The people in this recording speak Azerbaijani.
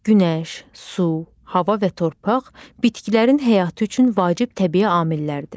Günəş, su, hava və torpaq bitkilərin həyatı üçün vacib təbii amillərdir.